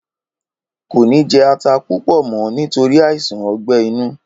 Kò ní jé ata púpò mọ nítorí àìsàn ogbè inú